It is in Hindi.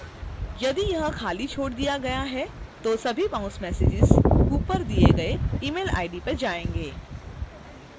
यदि यह खाली छोड़ दिया गया है तो सभी बाउंस messages ऊपर दिए गए email id पर जाएंगे